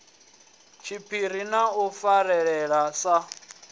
tshiphiri na u farelana sa